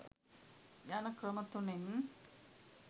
යන ක්‍රම තුනෙන්